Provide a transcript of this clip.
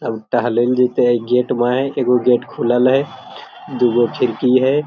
अब टहलेंल जैते एक गेट बंद हय एगो गेट खुलल है दूगो खिड़की है।